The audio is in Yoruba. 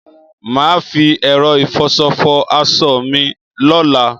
Mà á fi ẹ̀rọ ìfọṣọ fọ aṣọ mi lọ́la.